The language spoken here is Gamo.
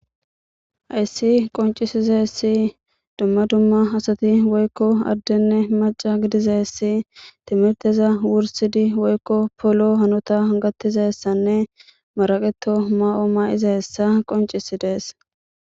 Hayssi qonccisizayssi dumma dumma asati woyko addenne macca gidizayssi timmirteza wursidi woyko polo hanota gattizayssanne maraqeto maa'o ma'izayssa qonccisides.